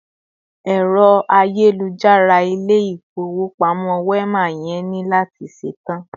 Ero ayélujára Ilé-ifowopamo Wema yẹn ni lati ṣetan